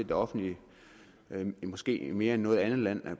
det offentlige måske mere end i noget andet land